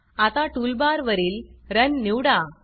आता टूलबारवरील Runरन निवडा